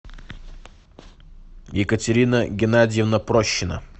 екатерина геннадьевна прощина